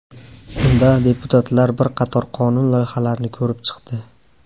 Unda deputatlar bir qator qonun loyihalarini ko‘rib chiqdi.